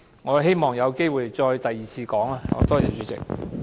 我希望有機會再作第二次發言。